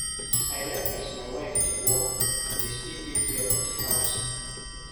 I like as my wife dey work, dey still take care of di house.